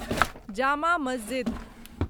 Jama Masjid